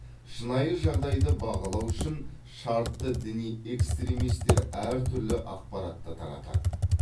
шынайы жағдайды бағалау үшін шартты діни экстремистер әртүрлі ақпаратты таратады